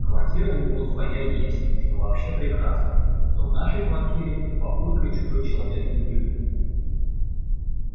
квартира у него своя есть что вообще прекрасно а то в нашей квартире с папулькой чужой человек не уживётся